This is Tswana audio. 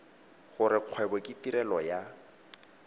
gore kgwebo ke tirelo ya